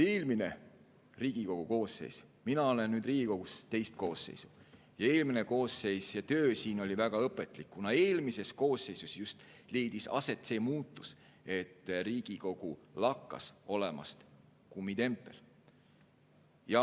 Eelmises Riigikogu koosseisus töötada – mina olen Riigikogus teist koosseisu – oli väga õpetlik, kuna just eelmises koosseisus leidis aset see muutus, et Riigikogu lakkas olemast kummitempel.